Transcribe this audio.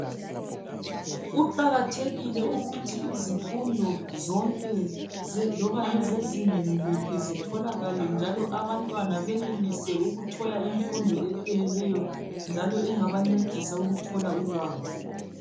Kuqakathekile ukuthi izifundo zonke loba ngeze zingeni liphi zitholakale njalo abantwana benelise ukuthola imfundo epheleleyo njalo engabancedisa ukuthola ulwazi.